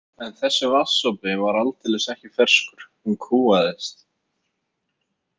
En þessi vatnssopi var aldeilis ekki ferskur, hún kúgaðist.